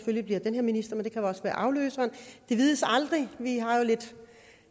at det bliver den her minister men det kan også være afløseren det vides aldrig vi har jo lidt